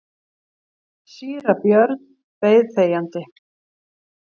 Síra Björn beið þegjandi.